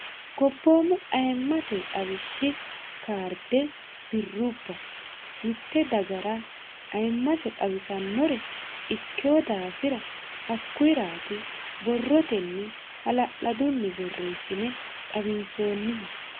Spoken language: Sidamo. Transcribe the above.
gobboomu ayimmate xawishshi kaarde birrubba mitte dagara ayimmase xawisannore ikkeo daafira hakkuyiraati borrotenni hala'ladunni borreessine xawinsoonnihu